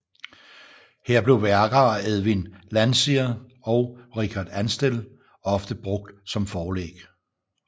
Her blev værker af Edwin Landseer og Richard Ansdell ofte brugt som forlæg